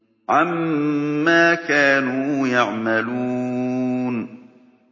عَمَّا كَانُوا يَعْمَلُونَ